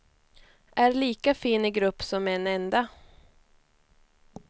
Är lika fin i grupp som en enda.